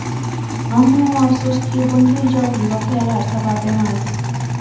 Ammo, afsuski, bunga ijobiy voqealar sabab emas.